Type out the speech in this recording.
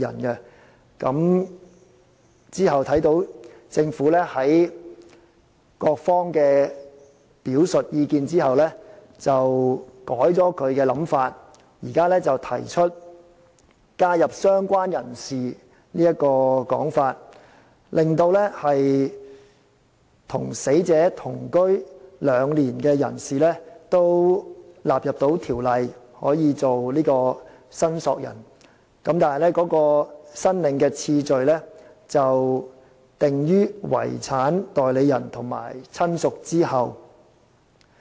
其後，在各方表述意見之後，政府改變其想法，提出加入"相關人士"這做法，令與死者同居兩年的人士可以成為申索人，但其申領次序則置於"遺產代理人"及"親屬"之後。